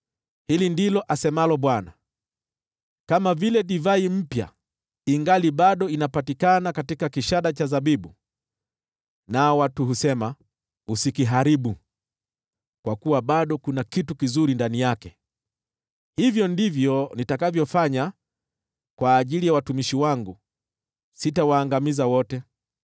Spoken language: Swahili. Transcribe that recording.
Hili ndilo asemalo Bwana : “Kama vile divai mpya ingali bado inapatikana katika kishada cha zabibu, nao watu husema, ‘Usikiharibu, kwa kuwa bado kuna kitu kizuri ndani yake,’ hivyo ndivyo nitakavyofanya kwa ajili ya watumishi wangu; sitawaangamiza wote.